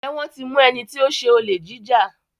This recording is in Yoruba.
Njé wón tí mú ẹní tí o ṣe Olè jíjà.